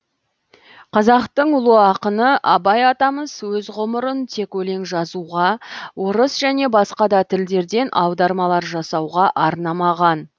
қазақтың ұлы ақыны абай атамыз өз ғұмырын тек өлең жазуға орыс және басқа да тілдерден аудармалар жасауға арнамаған